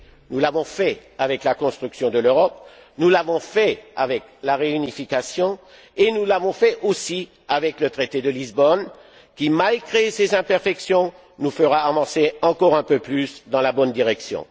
Nous l'avons fait avec la construction de l'Europe, nous l'avons fait avec la réunification et nous l'avons fait aussi avec le traité de Lisbonne qui, malgré ses imperfections, nous fera avancer encore un peu plus dans la bonne direction.